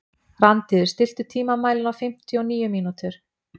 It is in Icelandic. Randíður, stilltu tímamælinn á fimmtíu og níu mínútur.